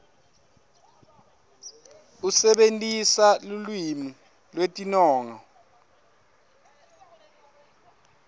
usebentisa lulwimi lwetinongo